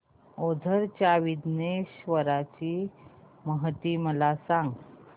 ओझर च्या विघ्नेश्वर ची महती मला सांग